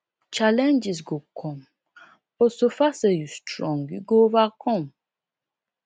challenges go come but so far say you strong you go overcome